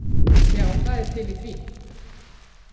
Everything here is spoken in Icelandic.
Já það er til í því.